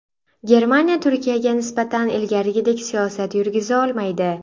Germaniya Turkiyaga nisbatan ilgarigidek siyosat yurgiza olmaydi.